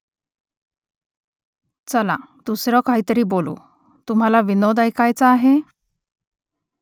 चला , दुसरं काहीतरी बोलू . तुम्हाला विनोद ऐकायाचा आहे ?